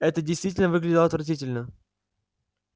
это действительно выглядело отвратительно